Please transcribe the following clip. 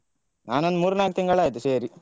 ನಾನೊಂದು ಮೂರ್ನಾಲ್ಕು ತಿಂಗಳಾಯ್ತು ಸೇರಿ.